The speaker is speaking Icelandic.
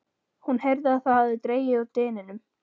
Hún heyrði að það hafði dregið úr dyninum.